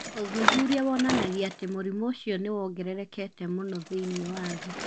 Ũthuthuria wonanagia atĩ mũrimũ ũcio nĩ wongererekete mũno thĩinĩ wa thĩ